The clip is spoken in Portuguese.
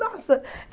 Nossa!